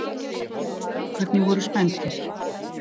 Strákarnir voru spenntir.